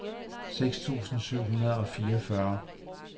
seks tusind syv hundrede og fireogfyrre